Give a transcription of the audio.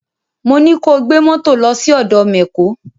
Mo ní ko gbé mọ́tò lọ sí ọ̀dọ mẹ̀kó!